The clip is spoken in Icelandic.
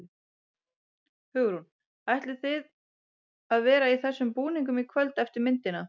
Hugrún: En ætlið þið að vera í þessum búningum í kvöld eftir myndina?